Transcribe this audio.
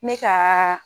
Me ka